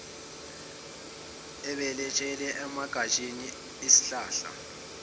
obelethele emagatsheni esihlahla